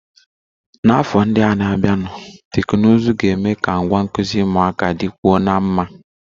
N'afọ ndị na-abịanụ, teknụzụ ga-eme ka ngwa nkuzi ụmụaka dịkwuo mma